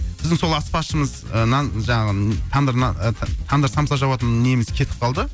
біздің сол аспазшымыз ы нан жаңағы тандыр нан это тандыр самса жабатын неміз кетіп қалды